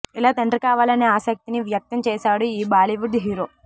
ఇలా తండ్రి కావాలనే ఆసక్తిని వ్యక్తం చేశాడు ఈ బాలీవుడ్ హీరో